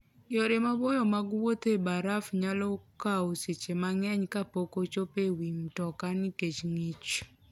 Yore maboyo mag wuoth e baraf nyalo kawo seche mang'eny kapok ochopo e wi mtoka nikech ng'ich.